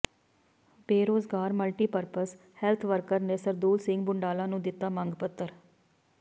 ਬੇਰੁਜ਼ਗਾਰ multipurpose health worker ਨੇ ਸਰਦੂਲ ਸਿੰਘ ਬੁੰਡਾਲਾ ਨੂੰ ਦਿੱਤਾ ਮੰਗ ਪੱਤਰ